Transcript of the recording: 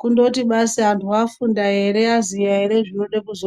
kungoti basi vantu afunda here aziva here zvinode kuziikanwa.